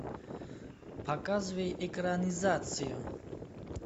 показывай экранизацию